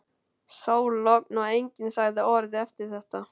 Sól, logn og enginn sagði orð eftir þetta.